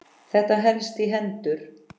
Þetta helst í hendur.